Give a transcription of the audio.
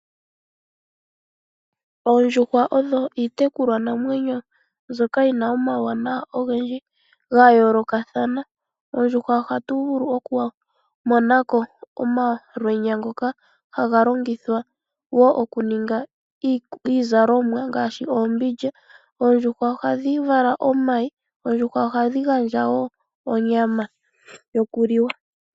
Oondjuhwa odho iitekulwanamwenyo mbyoka yi na omauwanawa ogendji ga yoolokathana. Ohatu vulu okumonako omalwenya ngoka ha ga longithwa okuninga iizalomwa ngaashi oombindja. Ohadhi vala omayi dho ohadhi gandja woo onyama yokuliwa.